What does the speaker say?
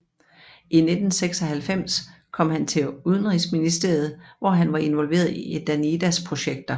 I 1996 kom han til Udenrigsministeriet hvor han var involveret i Danidas projekter